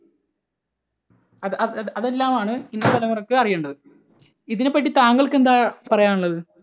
അത്അത് അതെല്ലാം ആണ് ഇന്നത്തെ തലമുറയ്ക്ക് അറിയേണ്ടത്. ഇതിനെപ്പറ്റി താങ്കൾക്ക് എന്താ പറയാനുള്ളത്?